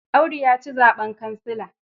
Audu ya ci zaɓen kansila.